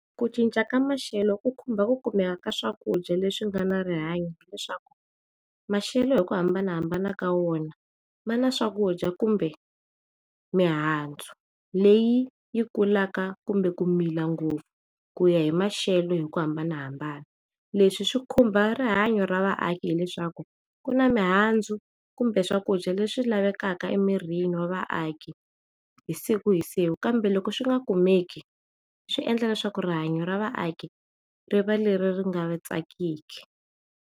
Ku cinca ka maxelo ku khumba ku kumeka ka swakudya leswi nga na rihanyo leswaku maxelo hi ku hambanahambana ka wona mani swakudya kumbe mihandzu leyi yi kulaka kumbe ku mila ngopfu ku ya hi maxelo hi ku hambanahambana yo leswi swi khumba rihanya ra vaaki hileswaku ku na mihandzu kumbe swakudya leswi lavekaka emirini wa vaaki hi siku hi siku kambe loko swi nga kumeka swi endla leswaku rihanya ra vaaki rivaleringa tsakisi.